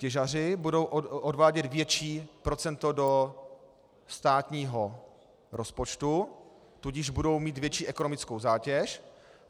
Těžaři budou odvádět větší procento do státního rozpočtu, tudíž budou mít větší ekonomickou zátěž.